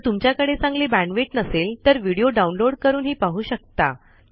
जर तुमच्याकडे चांगली बॅण्डविड्थ नसेल तर व्हिडिओ डाउनलोड पाहू शकता